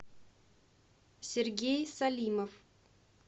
сергей салимов